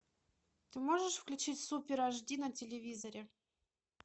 ты можешь включить супер аш ди на телевизоре